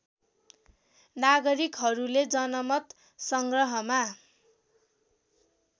नागरिकहरूले जनमत सङ्ग्रहमा